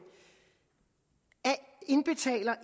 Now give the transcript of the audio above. indbetaler